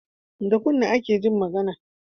Da kunne ake Jin magAna